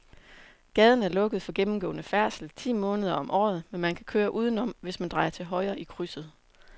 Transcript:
Gaden er lukket for gennemgående færdsel ti måneder om året, men man kan køre udenom, hvis man drejer til højre i krydset.